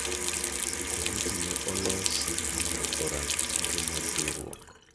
Komiti ne olosi mondo orang' tije mag riwruok.